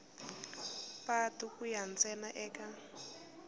patu ku ya ntsena eka